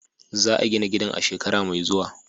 Za a gina gidan a shekara mai zuwa.